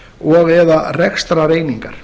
og eða rekstrareiningar